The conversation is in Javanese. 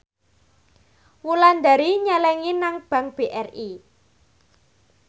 Wulandari nyelengi nang bank BRI